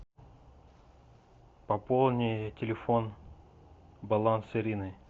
пополни телефон баланс ирины